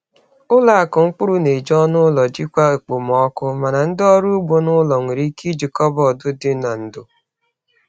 Ụlọ akụ mkpụrụ na-eji ọnụ ụlọ jikwaa okpomọkụ, mana ndị ọrụ ugbo n’ụlọ nwere ike iji kọbọd dị n’ndò.